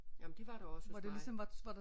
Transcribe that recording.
Jamen de var der også hos mig